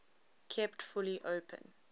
kept fully open